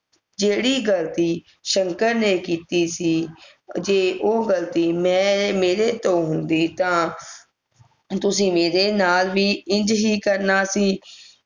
ਜਿਹੜੀ ਗਲਤੀ ਸ਼ੰਕਰ ਨੇ ਕੀਤੀ ਸੀ ਜੇ ਉਹ ਗਲਤੀ ਮੈਂ ਮੇਰੇ ਤੋਂ ਹੁੰਦੀ ਤਾਂ ਤੁਸੀਂ ਮੇਰੇ ਨਾਲ ਵੀ ਇੰਝ ਹੀ ਕਰਨਾ ਸੀ